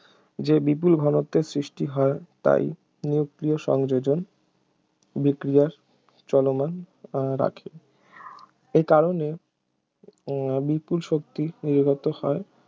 যে বিপুল ঘনত্বের সৃষ্টি হয় তাই নিউক্লীয় সংযোজন বিক্রিয়ার চলমান রাখে এই কারণে বিপুল শক্তি নির্গত হয়